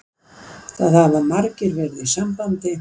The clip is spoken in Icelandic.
Það hafa margir verið í sambandi